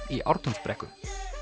í Ártúnsbrekku